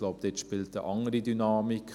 Ich glaube, dort spielt eine andere Dynamik.